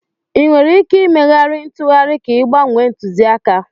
Ị nwere ike ịmegharị ntụgharị ka ị gbanwee ntụzịaka?